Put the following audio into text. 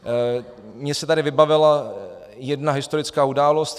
Mně se tady vybavila jedna historická událost.